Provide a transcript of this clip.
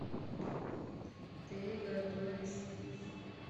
ты готовишь пиццу